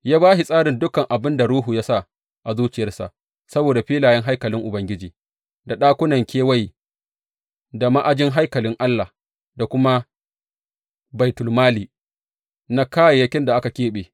Ya ba shi tsarin dukan abin da Ruhu ya sa a zuciyarsa saboda filayen haikalin Ubangiji da ɗakunan kewaye, da ma’ajin haikalin Allah da kuma baitulmali na kayayyakin da aka keɓe.